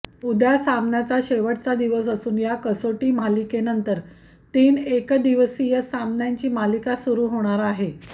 उद्या सामन्याचा शेवटचा दिवस असून या कसोटी मालिकेनंतर तीन एकदिवसीय सामन्यांची मालिका सुरू होणार आहे